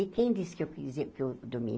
E quem disse que eu quisia que dormia?